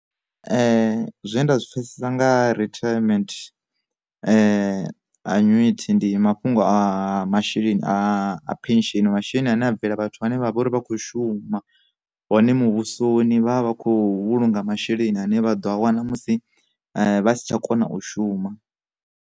Zwe nda zwi pfesesa nga riterment annuity, ndi mafhungo a masheleni a phesheni masheleni ane a bvela vhathu vhane vha vha uri vha khou shuma, hone muvhusoni vhavha vha khou vhulunga masheleni ane vha ḓo a wana musi vha si tsha kona u shuma.